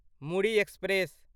Muri express